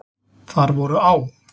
Þar voru á.